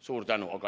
Suur tänu!